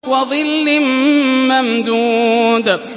وَظِلٍّ مَّمْدُودٍ